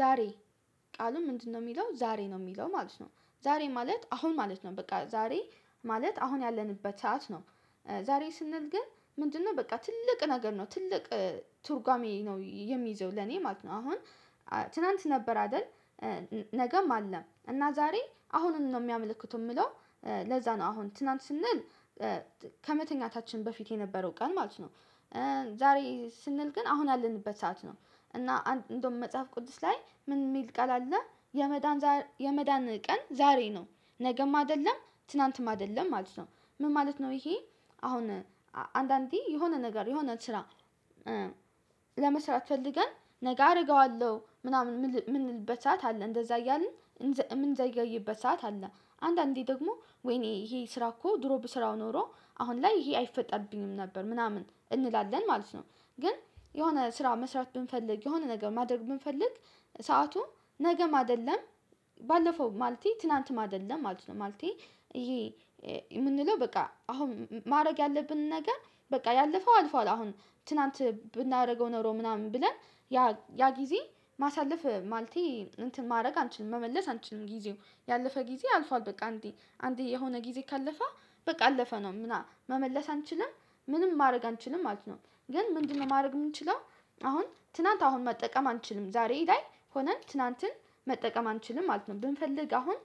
ዛሬ ቃሉ ምንድነው? የሚለው ዛሬ ነው የሚለው ማለት ነው ዛሬ ማለት አሁን ማለት ነው በቃ ዛሬ ማለት አሁን ያለንበት ሰዓት ነው። ዛሬ ስንል ግን ምንድነው በቃ ትልቅ ነገር ነው ትልቅ ትርጓሜ ነው የሚይዘው ለኔ ማለት ነው። አሁን ትላንት ነበር አይደል? ነገም አለም እና ዛሬ አሁኑን ነው የሚያመለክት የምለው ለዛ ነው አሁን ትናንት ስንል ከመተኛታችን በፊት የነበረው ቀን ማለት ነው። ዛሬ ስንል ግን አሁን አለንበት ሰዓት ነው እና እንደውም መጽሐፍ ቅዱስ ላይ ምን የሚል ቃል አለ የመዳን የመዳን ቀን ዛሬ ነው ነገም አይደለም ትናንትም አይደለም ነው። ይሄ አሁን አንዳንዴ የሆነ ነገር የሆነ ስራ። ለመስራት ፈልገን ነገ አደርገዋለሁ ምናምን የምንልበት ሰዓት አለ እንደዛ እያልን እምንዘገይበት አለ። አንዳንዴ ደግሞ ወይኔ ይሄ ስራ እኮ ድሮብ ስራው ኖሮ አሁን ላይ ይሄ አይፈጠርብኝም ነበር ምናምን እንላለን ማለት ነው። ግን የሆነ ስራ መስራት ብንፈልግ የሆነ ነገር ማድረግ ብንፈልግ ሰአቱን ነገም አይደለም። ባለፈው ማለቴ ትላንትም አይደለም ማለቴ ይሄ የምንለው በቃ አሁን ማድረግ ያለብንን ነገር በቃ ያለፈው አልፏል አሁን ትላንት ብናደርገው ኖሮ ምናምን ብለን። ያ ያ ጊዜ ማሳለፍ ማልቴ እንትን ማድረግ አንችልም መመለስ አንችልም ጊዜው ያለፈ ጊዜ አልፏል በቃ እንዴ አንዴ የሆነ ጊዜ ካለፈ በቃ አለፈ ነው መመለስ አንችልም ምንም ማድረግ አንችልም ማለት ነው። ግን ምንድነው ማድረግ የምንችለው? አሁን ትናንት አሁን መጠቀም አንችልም ዛሬ ላይ ሆነን ትናንትን መጠቀም አንችልም ማለት ነው። ብንፈልግ አሁን